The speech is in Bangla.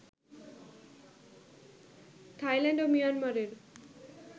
থাইল্যান্ড ও মিয়ানমারের